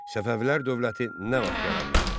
Səfəvilər dövləti nə vaxt yaranmışdı?